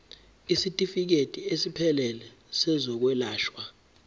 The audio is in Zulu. isitifikedi esiphelele sezokwelashwa